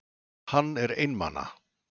Hann er einmana.